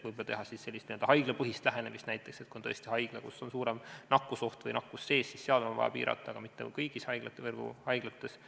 Võimalik, et siis saaks teha sellist n-ö haiglapõhist lähenemist, et kui on tõesti haigla, kus on suurem nakkusoht või nakkus sees, siis seal on vaja piirata, aga mitte kõigis haiglavõrgu haiglates.